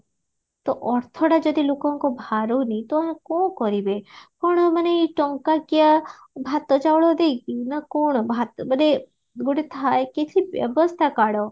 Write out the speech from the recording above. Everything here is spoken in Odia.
ତ ଅର୍ଥଟା ଯଦି ଲୋକଙ୍କ ଭାରୁନି ତ କଣ କରିବେ କଣ ମାନେ ଟଙ୍କା କିଆ ଭାତ ଚାଉଳ ଦେଇକି ନା କଣ ଭାତ ମାନେ ଗୋଟେ ଥାଏ କିଛି ବ୍ୟବସ୍ଥା କାଢ